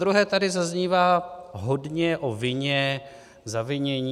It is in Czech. Zadruhé tady zaznívá hodně o vině, zavinění.